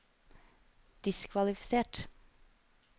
diskvalifisert